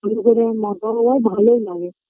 আমি মজাও হয় ভালোও লাগে